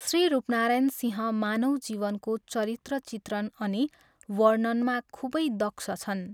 श्री रूपनारायण सिंह मानव जीवनको चरित्र चित्रण अनि वर्णनमा खुबै दक्ष छन्।